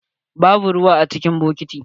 Babu ruwa cikin bokitin.